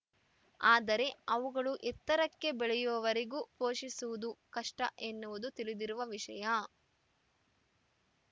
ಆದರೆ ಅವುಗಳು ಎತ್ತರಕ್ಕೆ ಬೆಳೆಯುವವರೆಗೆ ಪೋಷಿಸುವುದು ಕಷ್ಟಎನ್ನುವುದು ತಿಳಿದಿರುವ ವಿಷಯ